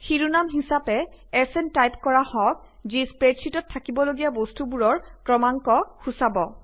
শিৰোনাম হিচাপে SN type কৰা হওঁক যি স্প্ৰেডশ্বিটত থাকিবলগীয়া বস্তুবোৰৰ ক্ৰমাংক সূচাব